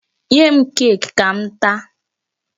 Nye m cake ka m taa.